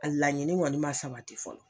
A laɲini kɔni man sabati fɔlɔ.